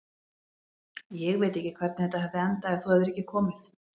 Ég veit ekki hvernig þetta hefði endað ef þú hefðir ekki komið.